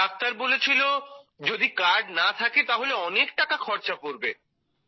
doctor বলেছিল যদি card না থাকে তাহলে অনেক টাকা খরচা পড়বে